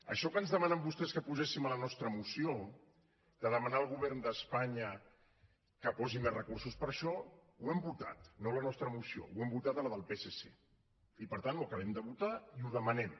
això que ens demanen vostès que poséssim a la nostra moció de demanar al govern d’espanya que posi més recursos per a això ho hem votat no a la nostra moció ho hem votat a la del psc i per tant ho acabem de votar i ho demanem